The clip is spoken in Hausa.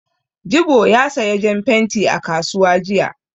Jibo ya saya jan fenti a kasuwa jiya.